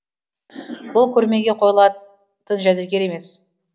бұл көрмеге қойылатын жәдігер емес